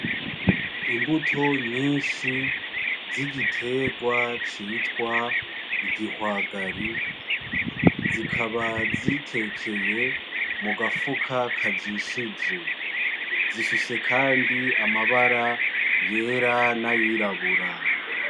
Imbuto nyinshi z'igiterwa citwa igihwagari zikaba zitekeye mugafuka kajishije zifise Kandi amabara yera nayirabura.